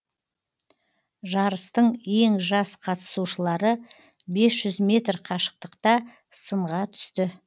жарыстың ең жас қатысушылары бес жүз метр қашықтықта сынға түсті